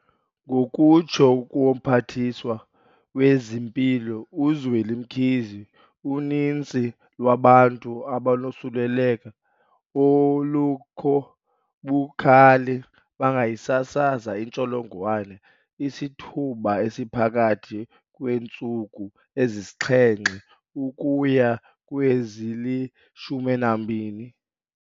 Ngokutsho koMphathiswa wezeMpilo uZweli Mkhize, uninzi lwabantu abanosuleleko olukho bukhali bangayisasaza intsholongwane isithuba esiphakathi kweentsuku ezisixhenxe ukuya kwezili-12.